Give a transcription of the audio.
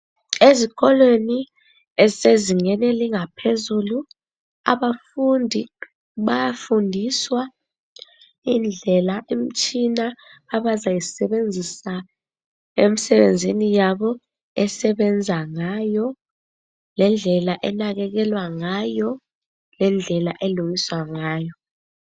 Ezikolweni ezisezingeni elingaphezulu abafundi bayafundiswa indlela imtshina abazayisebenzisa emsebenzini yabo esebenza ngayo, lendlela enakekelwa ngayo, lendlela elungiswa ngayo.